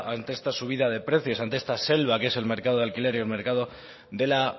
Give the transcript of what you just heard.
ante esta subida de precios ante esta selva que es el mercado del alquiler y el mercado de la